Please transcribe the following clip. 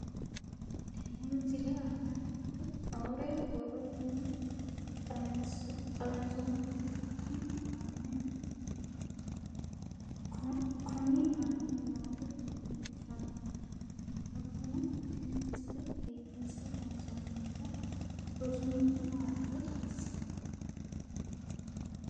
Tenne misile aana noore borrotenni xawisummoha ikirro kunni aane noore leelishano. Hakunno tinni misile biifinse loonsoniha rosu mini waalcho xawissano.